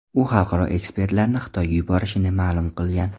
U xalqaro ekspertlarni Xitoyga yuborishini ma’lum qilgan.